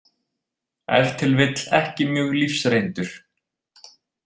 Ef til vill ekki mjög lífsreyndur.